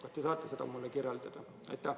Kas te saaksite seda kirjeldada?